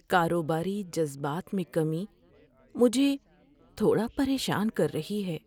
کاروباری جذبات میں کمی مجھے تھوڑا پریشان کر رہی ہے۔